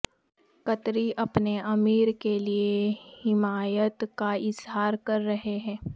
قطری اپنے امیر کے لیے حمایت کا اظہار کررہے ہیں